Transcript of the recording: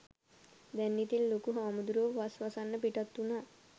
දැන් ඉතින් ලොකු හාමුදුරුවෝ වස් වසන්න පිටත් වුනා